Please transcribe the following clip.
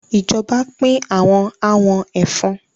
Ìjọba pín awọn àwọn ẹ̀fọn.